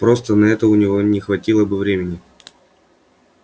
просто на это у него не хватило бы времени